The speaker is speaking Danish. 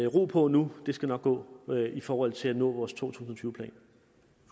ro på nu det skal nok gå i forhold til at nå vores to tusind plan